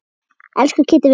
Elsku Kiddi vinur.